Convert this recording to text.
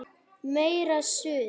Meira Suð!